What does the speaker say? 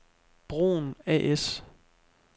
Broen A/S